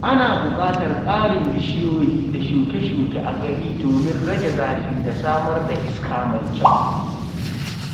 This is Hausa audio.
Ana buƙatar ƙarin bishiyoyi da shuke-shuke a gari domin rage zafi da samar da iska mai kyau.